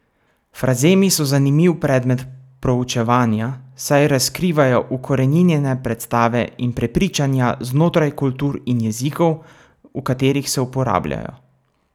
Frazemi so zanimiv predmet proučevanja, saj razkrivajo ukoreninjene predstave in prepričanja znotraj kultur in jezikov, v katerih se uporabljajo.